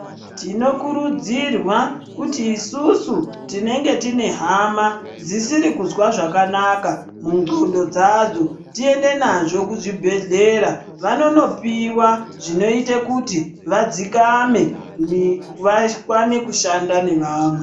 Tinokurudzirwa kuti isusu tinenge tine hama dzisiri kuzwa zvakanaka mundxondo dzadzo. Tiende nazvo kuzvibhedhlera vanonopiva zvinoita kuti vadzikame vakwane kushanda nevamwe.